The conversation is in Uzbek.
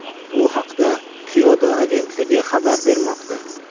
Bu haqda Kyodo agentligi xabar bermoqda .